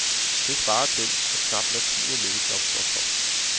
Det svarer til, at knap hver tiende lægejob står tomt.